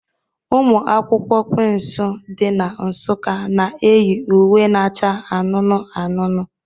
Ụmụ akwụkwọ Quinsu dị na Nsukka na-eyi uwe na-acha anụnụ anụnụ.